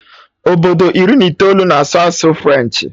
Obodo iri na itoolu na-asụ asụsụ French